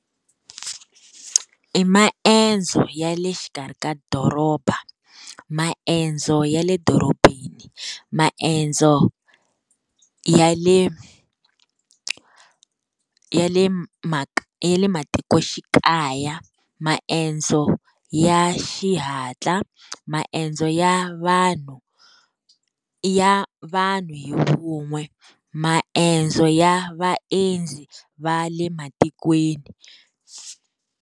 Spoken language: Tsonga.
I maendzo ya le xikarhi ka doroba. Maendzo ya le dorobeni, maendzo ya le ya le ya le matikoxikaya, maendzo ya xihatla, maendzo ya vanhu, ya vanhu hi vun'we, maendzo ya vaendzi va le matikweni.